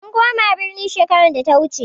Mun koma birni shekarar da ta wuce.